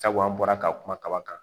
Sabu an bɔra ka kuma kaba kan